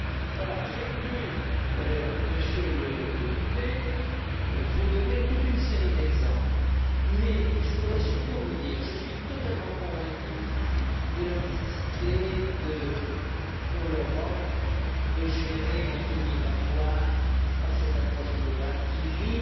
Voilà, j'ai voulu, Monsieur le député, vous donner toute une série d'exemples, mais je voudrais surtout vous dire que je suis totalement convaincu de la nécessité pour l'Europe de gérer les flux migratoires par cette approche globale qui